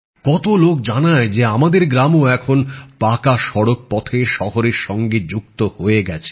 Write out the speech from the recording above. কতো লোক জানায় যে আমাদের গ্রামও এখন পাকা সড়ক পথে শহরের সঙ্গে যুক্ত হয়ে গেছে